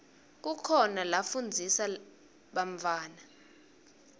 kukhona lafundzisa bantfwana